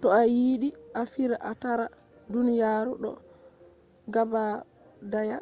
to ayidi a fira a tara duniyaru do gabadaya